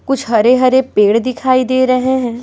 कुछ हरे-हरे पेड़ दिखाई दे रहे हैं।